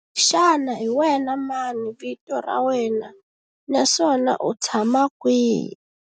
Xana hi wena mani vito ra wena naswona u tshama kwihi?